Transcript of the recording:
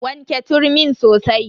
Wanke turmin sosai.